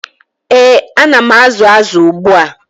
ee,A na m azụ azụ ugbu a.